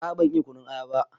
A a ban iya kunun aya ba.